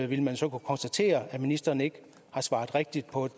ville man så kunne konstatere at ministeren ikke har svaret rigtigt på et